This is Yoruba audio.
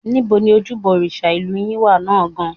Níbo ni ojúbọ òrìṣà ìlú yín wà náà gan-an?